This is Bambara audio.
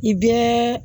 I bɛɛ